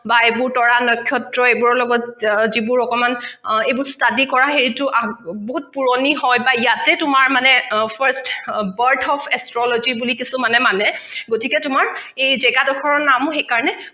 এইবোৰ তৰা নক্ষত্ৰ এইবোৰৰ লগত যিবোৰৰ অকমান study কৰা সেইটো বহুত পুৰণি হয় বা ইয়াতে তোমাৰ মানে first birth of astrology বুলি কিছুমানে মানে গতিকে তোমাৰ এই জেগা দখৰ নাম সেইকাৰণে